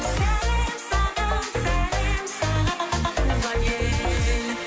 сәлем саған сәлем саған туған ел